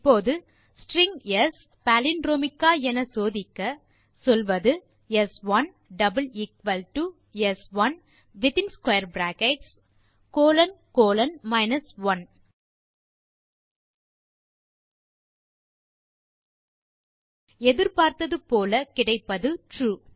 இப்போது string s palindromic ஆ என சோதிக்க சொல்வது ஸ்1 is equal to is equal to ஸ்1 in square brackets colon colon 1 எதிர்பார்த்தது போல கிடைப்பது ட்ரூ